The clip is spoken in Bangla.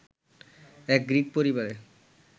এক গ্রিক পরিবারে